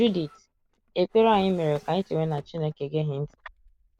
Judith: Ekpere anyị mere ka anyị chewe na Chineke egeghị ntị.